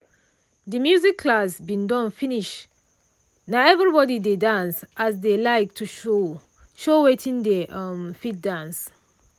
de music class bin don finish na everybody dey dance as dey like to show show wetin dey um fit dance.